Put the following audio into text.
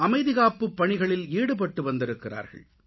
அமைதிகாப்புப் பணிகளில் ஈடுபட்டுவந்திருகிறார்கள்